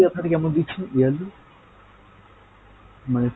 আপনারা কেমন দিচ্ছেন yearly? মানে,